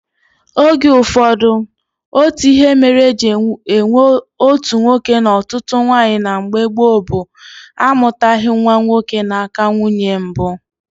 Oge ụfọdụ, otu ihe mere eji enwe otu nwoke na ọtụtụ nwaanyị na mgbe gboo bụ amụtaghị nwa nwoke n'aka nwunye mbụ